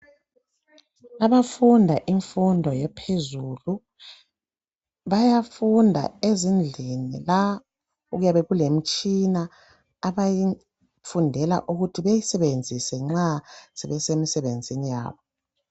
Abafunda imfundo ephezulu, bayafunda ezindlini la okuyabe kulemitshina abayifundela ukuthi beyisebenzise nxa sebesemisebenzini yabo.